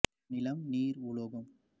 நிலம் நீர் உலோகம்